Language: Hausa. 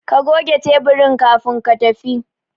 Ka goge taburin kafin ka tafi